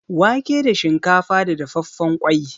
Wake da shinkafa da dafaffen ƙwai.